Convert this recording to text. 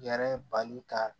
Yɛrɛ bali ka